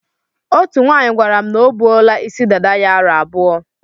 Otú nwaanyị gwara m na o buola isi dada ya aro abụọ.